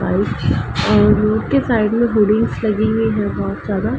और रोड के साइड में होल्डिंग्स लगी हुई हैं बोहत ज्यादा।